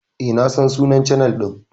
Eh na san sunnan chanel din.